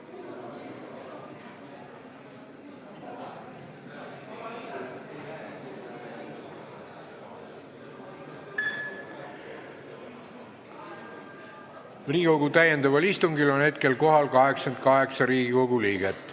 Kohaloleku kontroll Hetkel on Riigikogu täiendaval istungil kohal 88 Riigikogu liiget.